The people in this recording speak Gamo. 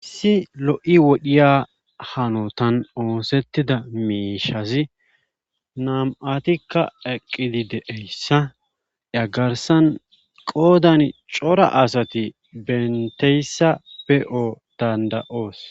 issi lo7i wodhiya hanotan oosettida mishazi nam7atikka eqqili de'eyssa yagarsan qoodan cora asati benteyssa be7oo danda7oos